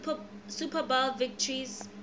super bowl victories